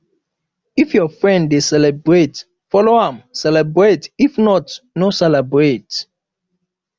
if your friend dey celebrate follow am celebrate if not no celebrate